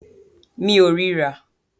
Mi ò rí rà.